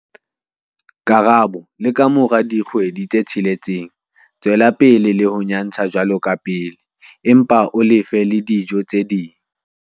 Karabo- Le ka mora dikgwedi tse tsheletseng, tswela pele le ho nyatsha jwalo ka pele, empa o le fe le dijo tse ding.